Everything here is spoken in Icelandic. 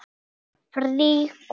Einmitt það!